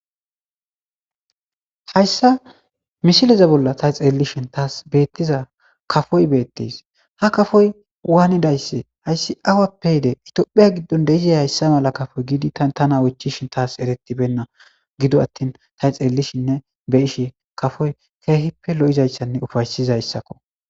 Hayssa mishileze bolla tay xeellishin taas beettiza kafoy beettes ha kafoy waanidaysse hayssi awappe yide itphiya giddon deizey hayssa mala kafoy giidi tana wochishin taas eretibenna gido attin tay xeellishinne be ishe kafoy keehippe lo7izayssanne ufaysizayssakko